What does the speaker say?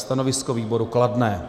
Stanovisko výboru kladné.